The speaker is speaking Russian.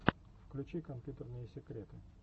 включи компьютерные секреты